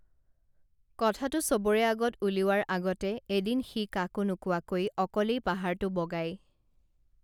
কথাটো সবৰে আগত উলিওৱাৰ আগতে এদিন সি কাকো নোকোৱকৈ অকলেই পাহাৰটো বগাই